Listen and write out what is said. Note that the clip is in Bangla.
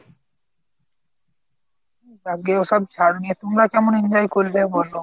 যাকগে ওসব ছাড় এখন দিয়ে তোমরা কেমন enjoy করলে সেটা বলো